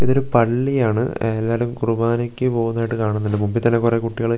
ഇതൊരു പള്ളിയാണ് എല്ലാവരും കുറുബാനയ്ക്ക് പോകുന്നതായിട്ട് കാണുന്നുണ്ട് മുമ്പിൽ തന്നെ കുറേ കുട്ടികള് വെളക്ക് --